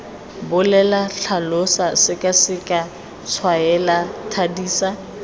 bolela tlhalosa sekaseka tshwaela thadisa